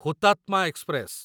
Hutatma express